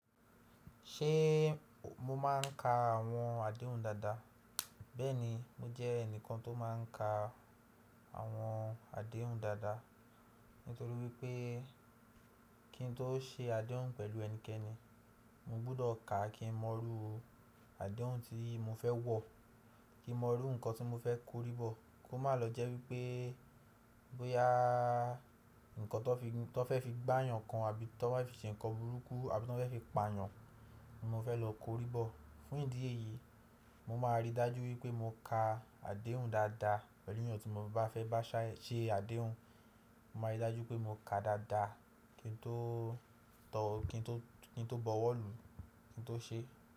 Ṣé mo máà ń ka àwọn àdéhùn dáadáa? Bẹ́ẹ̀ni, mo jẹ́ ẹnìkan tó máa ń ka àwọn àdéhùn dáadáa, nítorí wípé kí n tó ṣe àdéhùn pẹ̀lú ẹnikẹ́ni, mo gbúdọ̀ ka kí mọ rú àdéhùn tí mo fẹ́ wọ̀, kí mọ rú nkan tí mo fẹ́ korí bọ̀. Kó má lọ jẹ́ wípé bóyá nkan tó fẹ́ fi gbá yàn kan àbí tó bá fi ṣe ǹkan burúkú àbí tó fẹ́ fi pa yàn, mo fẹ́ lọ korí bọ̀. Fún ìdí èyí, mo máa rí dájú wípé mo ka àdéhùn dáadáa pẹ̀lú ènìyàn tí mo bá fẹ́ bá ṣe àdéhùn. Mo máa rí dájú pé mo ka dáadáa kí n tó tọ̀ ọ́, kí n tó bọwọ́ lu, kí n tó ṣe é.